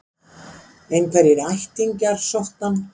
Einhverjir ættingjar sóttu hann